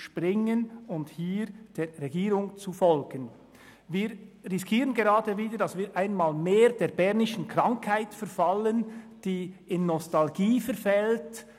Wir riskieren gerade, einmal mehr der bernischen Krankheit zu verfallen und in Nostalgie zu versinken.